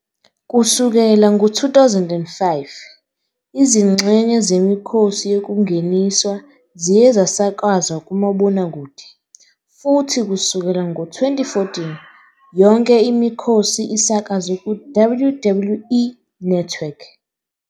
Kusukela ngo-2005, izingxenye zemikhosi yokungeniswa ziye zasakazwa kumabonakude futhi kusukela ngo-2014, yonke imikhosi isakazwe ku- WWE Network.